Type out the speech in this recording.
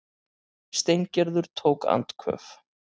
Steingerður tók andköf.